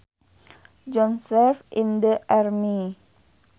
John served in the army